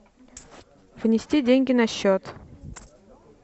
внести деньги на счет